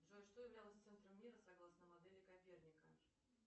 джой что являлось центром мира согласно модели коперника